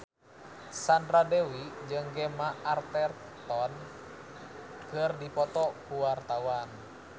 Sandra Dewi jeung Gemma Arterton keur dipoto ku wartawan